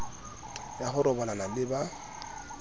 ya ho robalana le ba